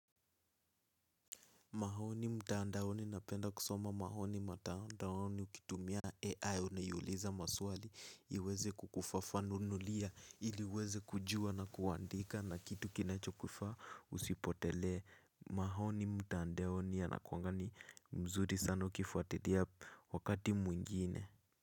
Mahoni mtandaoni napenda kusoma mahoni mtandaoni ukitumia AI unayuliza maswali iweze kukufafanunulia ili uweze kujua na kuandika na kitu kinacho kufaa usipotelee. Mahoni mtandaoni yanakuanga ni mzuri sana ukifuatilia wakati mwingine.